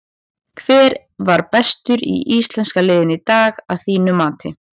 Hver var bestur í íslenska liðinu í dag að þínu mati?